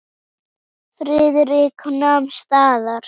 Friðrik nam staðar.